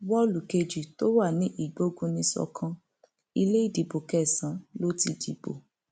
wọọlù kejì tó wà ní ìgbógunìsókàn ilé ìdìbò kẹsànán ló ti dìbò